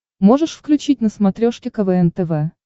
можешь включить на смотрешке квн тв